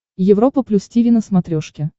европа плюс тиви на смотрешке